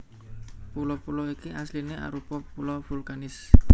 Pulo pulo iki asliné arupa pulo vulkanis